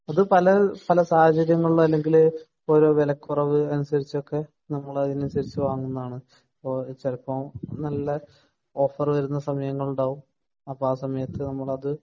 ഇപ്പൊ പല പല സാഹചര്യങ്ങളിലോ അല്ലെങ്കിൽ ഇപ്പൊ വെലക്കുറവ് അനുസരിച്ച് ഒക്കെ നമ്മളതിനനുസരിച്ച് വാങ്ങുന്നതാണ് അപ്പൊ ചെലപ്പോ നല്ല ഓഫർ വരുന്ന സമയങ്ങുളുണ്ടാവും അപ്പോ ആ സമയത്ത് നമ്മൾ അത്